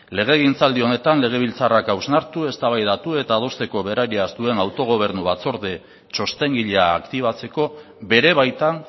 legegintzaldi honetan legebiltzarrak hausnartu eztabaidatu eta adosteko berariaz duen autogobernu batzorde txostengilea aktibatzeko bere baitan